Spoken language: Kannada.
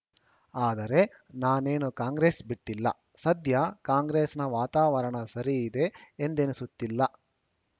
ಆದರೆ ನಾನೇನು ಕಾಂಗ್ರೆಸ್‌ ಬಿಟ್ಟಿಲ್ಲ ಸದ್ಯ ಕಾಂಗ್ರೆಸ್‌ನ ವಾತಾವರಣ ಸರಿ ಇದೆ ಎಂದೆನಿಸುತ್ತಿಲ್ಲ